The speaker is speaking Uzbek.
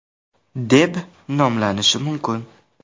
deb nomlanishi mumkin.